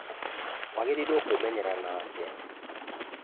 Wagĩrĩirwo kwĩmenyerera nake